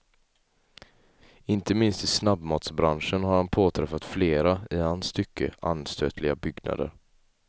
Inte minst i snabbmatsbranschen har han påträffat flera, i hans tycke, anstötliga byggnader.